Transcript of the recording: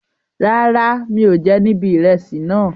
Rárá, mi ò jẹ nibi ìrẹsì náà.